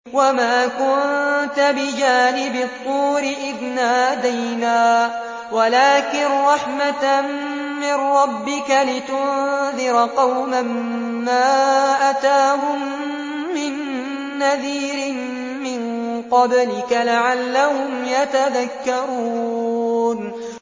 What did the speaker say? وَمَا كُنتَ بِجَانِبِ الطُّورِ إِذْ نَادَيْنَا وَلَٰكِن رَّحْمَةً مِّن رَّبِّكَ لِتُنذِرَ قَوْمًا مَّا أَتَاهُم مِّن نَّذِيرٍ مِّن قَبْلِكَ لَعَلَّهُمْ يَتَذَكَّرُونَ